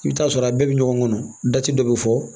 I bɛ taa sɔrɔ a bɛɛ bɛ ɲɔgɔn kɔnɔ dati dɔ bɛ fɔ